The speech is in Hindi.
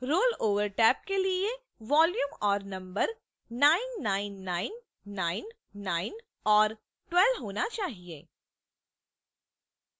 rollover टैब के लिए volume और number 99999 और 12 होना चाहिए